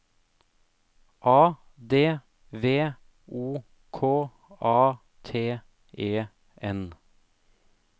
A D V O K A T E N